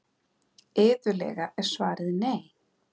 Iðulega er svarið nei.